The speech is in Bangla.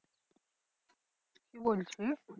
কি বলছিস?